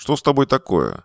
что с тобой такое